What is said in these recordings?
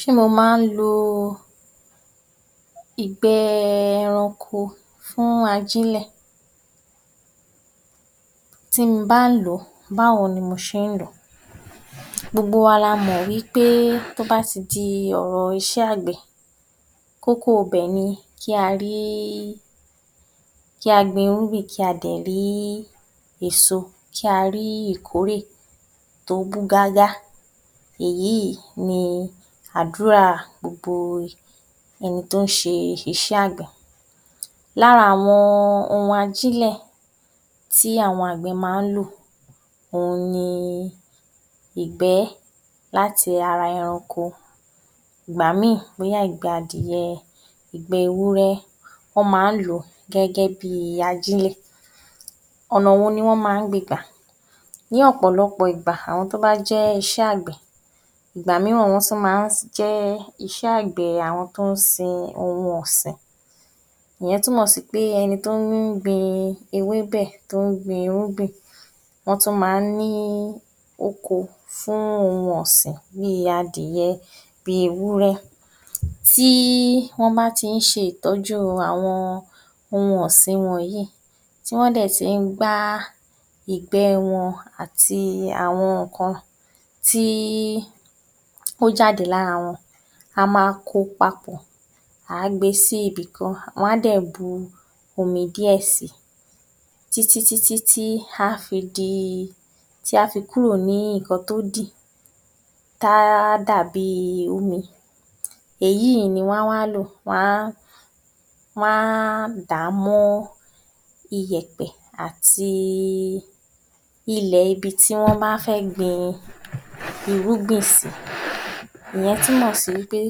Ṣé mo ma ń lo ìgbẹ́ ẹranko fún ajílẹ̀? Tí ń bá ń lò ó, báwo ni mo ṣe ń lò ó? Gbogbo wa la mọ̀ wí pé tó bá ti di ọ̀rọ̀ iṣẹ́ àgbẹ̀, kókó ibẹ̀ ni kí a rí, kí a gbin irúgbìn, kí a dẹ̀ rí èso, kí a rí ìkórè tó bú gágá. Èyí ni àdúrà gbogbo ẹni tó ń ṣe iṣẹ́ àgbẹ̀. Lára àwọn ohun ajílẹ̀ tí àwọn àgbẹ̀ máa ń lò òhun ni ìgbẹ́ láti ara ẹranko, ìgbá míì bóyá ìgbẹ́ adìyẹ, ìgbẹ́ ewúrẹ́, wọ́n ma ń lò ó gẹ́gẹ́ bí ajílẹ̀. Ọ̀nà wo ni wọ́n máa ń gbe gbà? Ní ọ̀pọ̀lọpọ̀ ìgbà àwọn tó bá jẹ́ iṣẹ́ àgbẹ̀, ìgbà mìíràn wọ́n tún máa ń jẹ́ iṣẹ́ àgbẹ̀ àwọn tó ń sin ohun ọ̀sìn. Ìyẹn túmọ̀ sí pé ẹni tó ń gbin ewébẹ̀, tó ń gbin irúgbìn, wọ́n tún máa ń ní oko fún ohun ọ̀sìn bíi adìyẹ, bíi ewúrẹ́ tí wọ́n bá ti ń ṣe ìtọ́jú àwọn ohun ọ̀sìn wọn yìí, tí wọ́n dẹ̀ ti ń gbá ìgbẹ́ wọn àti àwọn nǹkan tó jáde lára wọn, a máa ko papọ̀, à á gbe sí ibìkan, wọn á dẹ̀ bu omi díẹ̀ si, títí títí tí á fi di, tá fi kúrò ní nǹkan tó dì tá á dàbí omi, èyí ni wọ́n á wá lò, wọ́n á dà mọ́ iyẹ̀pẹ̀ àti ilẹ̀ ibi tí wọ́n bá fẹ́ gbin irúgbìn sí. Ìyẹn túmọ̀ sí wí pé,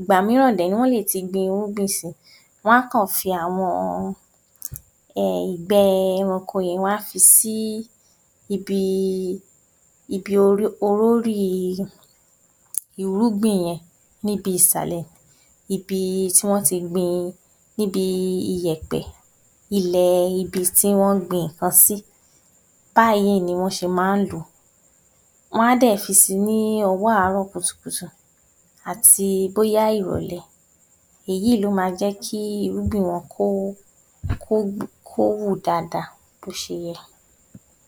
ìgbà mìíràn dẹ̀ rè é wọ́n lè ti gbin irúgbìn si; wọ́n á kàn fi àwọn, ìgbẹ́ ẹranko yẹn, wọ́n á fi si ibi, ibi orórì irúgbìn yẹn níbi ìsàlẹ̀, ibi tí wọ́n ti gbin, níbi iyẹ̀pẹ̀ ilẹ̀ ibi tí wọ́n gbin nǹkan sí. Báyìí ni wọ́n ṣe máa ń lò ó. Wọ́n á dẹ̀ fi si ní ọwọ́ àárọ̀ kùtùkùtù àti bóyá ìrọ̀lẹ́. Èyí ló máa jẹ́ kí irúgbìn wọn, kó, kó kó hù dada bó ṣe yẹ